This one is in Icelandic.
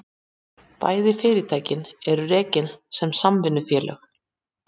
Bæði fyrirtækin eru rekin sem samvinnufélög